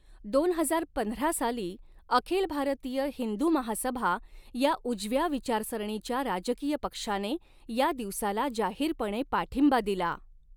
दोन हजार पंधरा साली अखिल भारतीय हिंदू महासभा या उजव्या विचारसरणीच्या राजकीय पक्षाने या दिवसाला जाहीरपणे पाठींबा दिला.